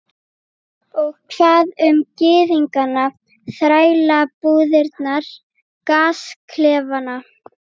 Og hvað um gyðingana, þrælabúðirnar, gasklefana?